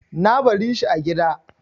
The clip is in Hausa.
Na bari shi a gida.